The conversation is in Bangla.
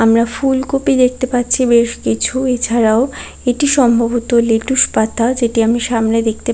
আমরা ফুলকপি দেখতে পাচ্ছি বেশ কিছু। এছাড়াও এটি সম্ভবত লেটুস পাতা যেটি আমি সামেনে দেখতে পা--